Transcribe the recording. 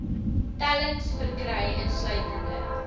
tellings verkry insluitende